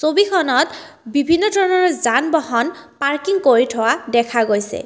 ছবিখনত বিভিন্ন ধৰণৰ যান বাহন পাৰ্কিং কৰি থোৱা দেখা গৈছে।